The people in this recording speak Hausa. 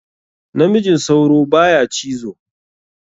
Namijin sauro baya cizo.